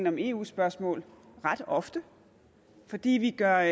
om eu spørgsmål ret ofte fordi vi gør